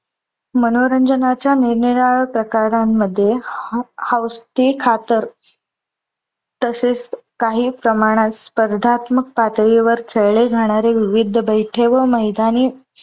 मनोरंजनाच्या निरनिराळ्या प्रकारामध्ये हौसे खातर तसेच काही प्रमाणात स्पर्धात्मक पातळीवर खेळले जाणारे विविध बैठे व मैदानी